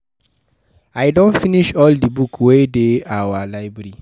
I don finish all the books wey dey our library